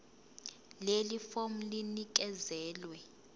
leli fomu linikezelwe